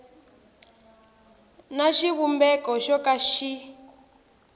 na xivumbeko xo ka xi